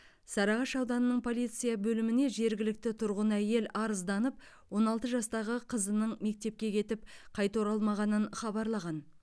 сарыағаш ауданының полиция бөліміне жергілікті тұрғын әйел арызданып он алты жастағы қызының мектепке кетіп қайта оралмағанын хабарлаған